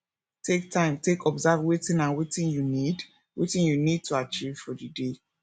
take time take observe wetin and wetin you need wetin you need to achieve for di day